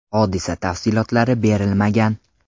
Hodisa tafsilotlari berilmagan.